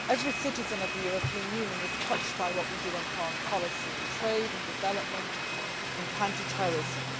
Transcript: Every citizen of the European Union is affected by what we do in foreign policy, in trade and development, and in counter terrorism.